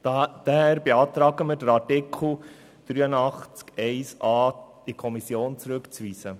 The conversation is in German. Daher beantragen wir, den Artikel 83 Absatz 1 Buchstabe a in die Kommission zurückzuweisen.